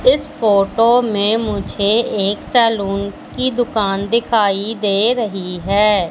इस फोटो में मुझे एक सैलून की दुकान दिखाई दे रही है।